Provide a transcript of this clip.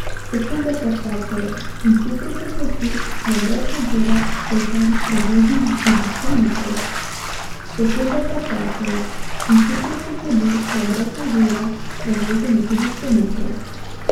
Sekunde pa tečejo in hitro se zgodi, da brez nadzora prevozimo tudi sto metrov.